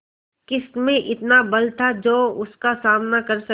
किसमें इतना बल था जो उसका सामना कर सके